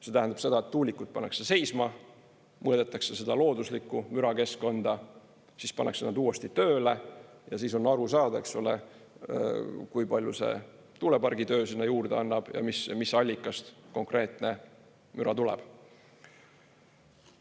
See tähendab seda, et tuulikud pannakse seisma, mõõdetakse looduslikku mürakeskkonda, siis pannakse nad uuesti tööle ja siis on aru saada, kui palju see tuulepargi töö sinna juurde annab ja mis allikast konkreetne müra tuleb.